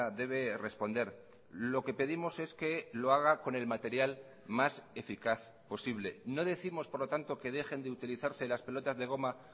debe responder lo que pedimos es que lo haga con el material más eficaz posible no décimos por lo tanto que dejen de utilizarse las pelotas de goma